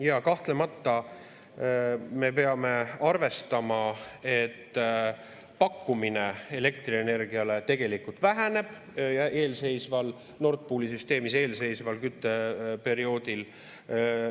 Ja kahtlemata me peame arvestama, et pakkumine elektrienergiale tegelikult väheneb Nord Pooli süsteemis eelseisval kütteperioodil.